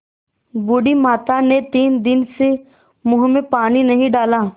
बूढ़ी माता ने तीन दिन से मुँह में पानी नहीं डाला